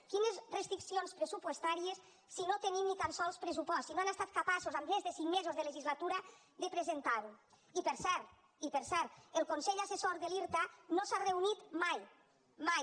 quines restriccions pressupostàries si no tenim ni tan sols pressupost si no han estat capaços en més de cinc mesos de legislatura de presentar ho i per cert el consell assessor de l’irta no s’ha reunit mai mai